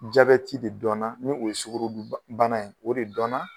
Jabɛti de dɔnna ni o ye sukorodu ba bana ye o de dɔnna